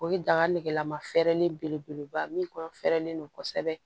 O ye daga nɛgɛlama fɛɛrɛlen belebeleba min kɔnɔ fɛrɛlen don kosɛbɛ